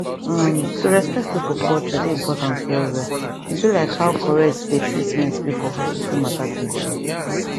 uhm to respect people culture dey important well well e be like how correct dey treatment be for hospital matter true true